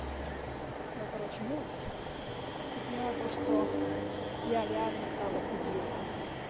я короче мылась и поняла то что я реально стала худее